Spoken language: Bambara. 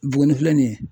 Buguni filɛ nin ye